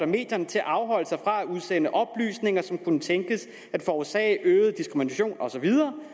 medierne til at afholde sig fra at udsende oplysninger som kunne tænkes at forårsage øget diskrimination og så videre